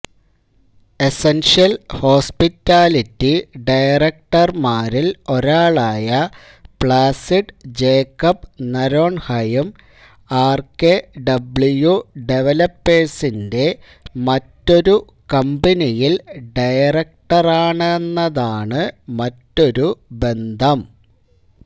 essential hospitality ഡയറക്ടർമാരിൽ ഒരാളായ Placid Jacob നരോൺഹയും ആർകെഡബ്ല്യു ഡെവലപ്പേഴ്സിന്റെ മറ്റൊരു കമ്പനിയിൽ ഡയറക്ടറാണെന്നതാണ് മറ്റൊരു ബന്ധം